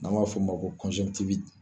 N'an b'a fɔ o ma ko